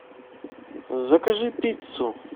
закажи пиццу